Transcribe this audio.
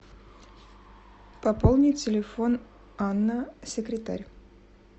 пополни телефон анна секретарь